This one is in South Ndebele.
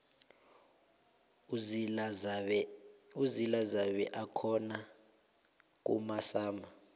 uzila zabe akhona kumasama